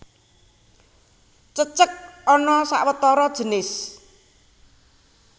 Cecek ana sawetara jinis